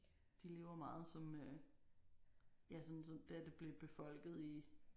De lever meget som øh. Ja sådan som da det blev befolket i